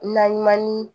Naɲuman ni